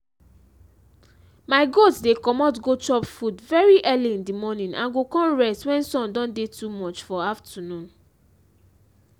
my goat dey comot go chop food very early in the morning and go con rest wen sun don dey too much for afternoon.